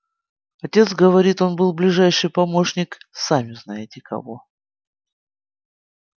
отец говорит он был ближайший помощник сами-знаете-кого